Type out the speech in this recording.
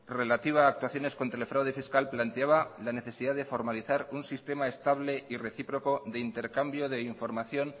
relativa a actuaciones contra el fraude fiscal planteaba la necesidad de formalizar un sistema estable y recíproco de intercambio de información